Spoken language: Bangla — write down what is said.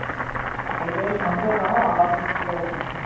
একজায়গায় শান্ত হয়ে দাঁড়াও আওয়াজ হচ্ছে কি রকম?